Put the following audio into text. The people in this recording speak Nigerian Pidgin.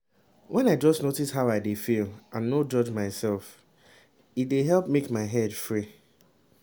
when i just notice how i dey feel and no judge myself e dey help make my head free